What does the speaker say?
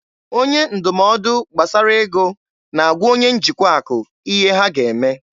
Onye ndụmọdụ gbasara ego na-agwa onye njikwa akụ ihe ha ga-eme.